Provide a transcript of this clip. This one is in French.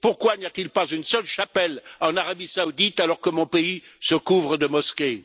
Pourquoi n'y a t il pas une seule chapelle en Arabie saoudite, alors que mon pays se couvre de mosquées?